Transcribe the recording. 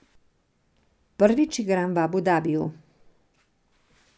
Prvič igram v Abu Dabiju.